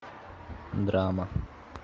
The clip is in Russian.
драма